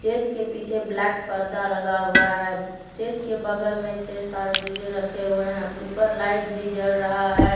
इसके पीछे ब्लैक परदा लगा हुआ है स्टेज के बगल में छे सात डी_जे रखे हुए हैं ऊपर लाइट भी जल रहा है।